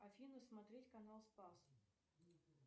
афина смотреть канал спас